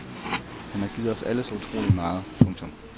Han har givet os alle så utroligt meget. punktum